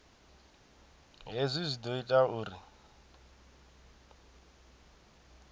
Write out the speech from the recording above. hezwi zwi ḓo ita uri